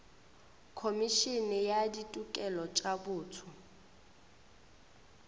khomišene ya ditokelo tša botho